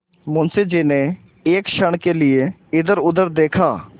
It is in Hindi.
मुंशी जी ने एक क्षण के लिए इधरउधर देखा